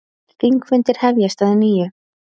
Þingfundir hefjast að nýju